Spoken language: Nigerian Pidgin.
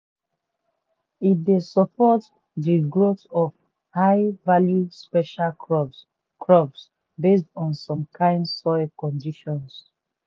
e dey support de growth of high-value special crops crops based on some kind soil conditions.